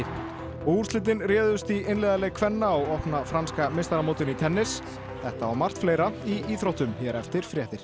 og úrslitin réðust í einliðaleik kvenna á opna franska meistaramótinu í tennis þetta og margt fleira í íþróttum hér eftir fréttir